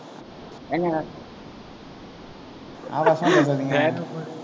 ஏங்க ஆபாசமா பேசாதீங்க.